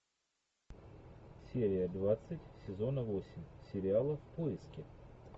серия двадцать сезона восемь сериала в поиске